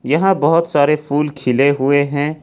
यहां बहुत सारे फूल खिले हुए हैं।